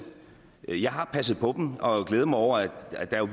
jeg har passet på dem og glæder mig over at der er